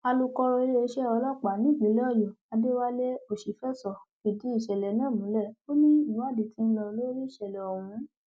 alūkọrọ iléeṣẹ ọlọpàá nípìnlẹ ọyọ adéwálé òṣìfẹsọ fìdìí ìṣẹlẹ náà múlẹ ó ní ìwádìí tí ń lọ lórí ìṣẹlẹ ọhún